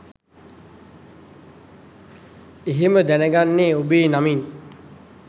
එහෙම දැනගන්නේ ඔබේ නමින්